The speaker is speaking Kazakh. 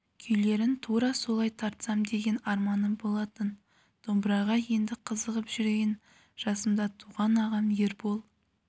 күйлерін тура солай тартсам деген арманым болатын домбыраға енді қызығып жүрген жасымда туған ағам ербол